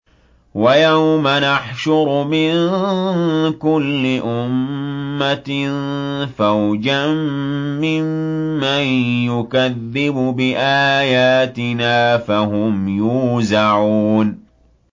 وَيَوْمَ نَحْشُرُ مِن كُلِّ أُمَّةٍ فَوْجًا مِّمَّن يُكَذِّبُ بِآيَاتِنَا فَهُمْ يُوزَعُونَ